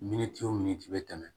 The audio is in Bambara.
Miniti o minti i bɛ tɛmɛ